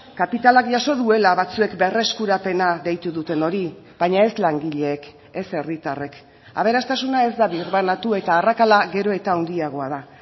kapitalak jaso duela batzuek berreskurapena deitu duten hori baina ez langileek ez herritarrek aberastasuna ez da birbanatu eta arrakala gero eta handiagoa da